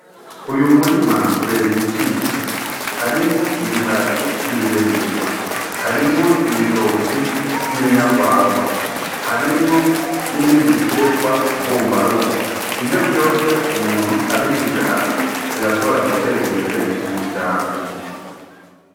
Uyu murima ubereye ijisho harimwo ibiharage vy'ibiremberwa, harimwo ibitoki vy'inyarwarwa, harimwo n'ibindi biterwa mbumba rugo ivyo vyose umuntu abishize hamwe birashobora guteza imbere umuryango.